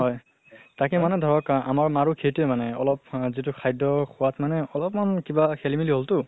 হয়। তাকে মানে ধৰক আমাৰ মাৰো সেইটোয়ে মানে অলপ যিটো খাদ্য় খোৱাত মানে অলপ্মান কিবা খেলি মেলি হল টো